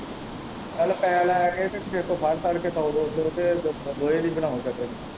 ਚੱਲ ਪੈਹੇ ਲੈ ਕੇ ਤੇ ਕੇਹੇ ਤੋਂ ਫੜ-ਦੜ ਕੇ ਸੌ ਦੋ ਸੌ ਰੁਪਏ ਲੋਹੇ ਦੀ ਬਣਾ ਸਟਰਿੰਗ।